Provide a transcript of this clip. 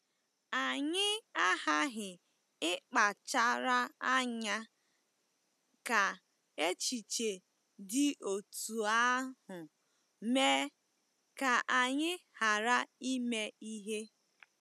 Anyị aghaghị ịkpachara anya ka echiche dị otú ahụ mee ka anyị ghara ime ihe.